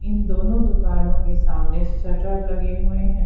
इन दोनों दुकानों के सामने शटर लगे हुए हैं।